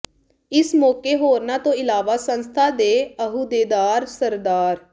ਇਸ ਮੌਕੇ ਹੋਰਨਾਂ ਤੋਂ ਇਲਾਵਾ ਸੰਸਥਾ ਦੇ ਅਹੁਦੇਦਾਰ ਸ੍ਰ